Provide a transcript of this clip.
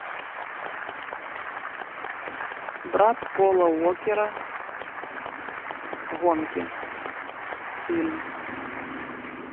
брат пола уокера гонки фильм